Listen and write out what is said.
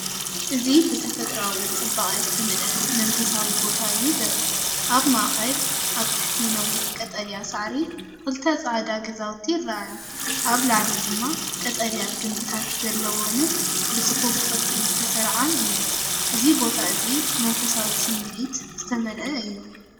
እዚ ብተፈጥሮኣዊ ጽባቐ ዝተመልአ መንፈሳዊ ቦታ እዩ ዘርኢ። ኣብ ማእከል፡ ኣብ ትሕቲ ነዊሕ ቀጠልያ ሳዕሪ፡ ክልተ ጻዕዳ ገዛውቲ ይረኣያ፡ ኣብ ላዕሊ ድማ ቀጠልያ ግምብታት ዘለወንን ብጽፉፍ ቅርጺ ዝተሰርዓን እየን። እዚ ቦታ እዚ መንፈሳዊ ስምዒትን ዝተመልአ እዩ።